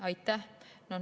Aitäh!